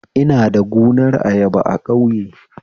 Ina da gunar ayaba a ƙauye